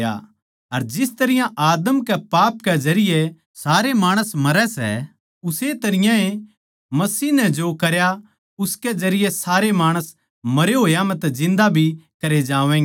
अर जिस तरियां आदम के पाप के जरिये सारे माणस मरै सै उस्से तरियां ए मसीह नै जो करया उसके जरिये सारे माणस मरे होया म्ह तै जिन्दा भी करे जावैंगे